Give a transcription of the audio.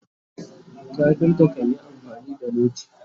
carpenter kanyi amfani da noti